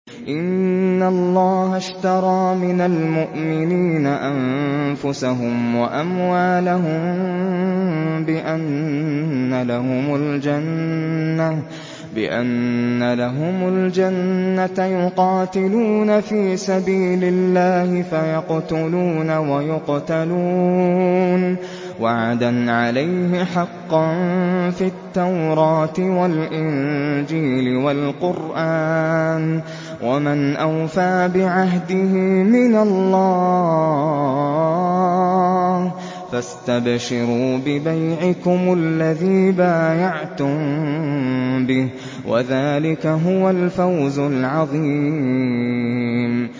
۞ إِنَّ اللَّهَ اشْتَرَىٰ مِنَ الْمُؤْمِنِينَ أَنفُسَهُمْ وَأَمْوَالَهُم بِأَنَّ لَهُمُ الْجَنَّةَ ۚ يُقَاتِلُونَ فِي سَبِيلِ اللَّهِ فَيَقْتُلُونَ وَيُقْتَلُونَ ۖ وَعْدًا عَلَيْهِ حَقًّا فِي التَّوْرَاةِ وَالْإِنجِيلِ وَالْقُرْآنِ ۚ وَمَنْ أَوْفَىٰ بِعَهْدِهِ مِنَ اللَّهِ ۚ فَاسْتَبْشِرُوا بِبَيْعِكُمُ الَّذِي بَايَعْتُم بِهِ ۚ وَذَٰلِكَ هُوَ الْفَوْزُ الْعَظِيمُ